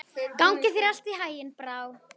Gangi þér allt í haginn, Brá.